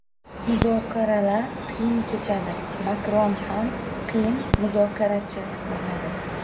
Muzokaralar qiyin kechadi, Makron ham qiyin muzokarachi bo‘ladi.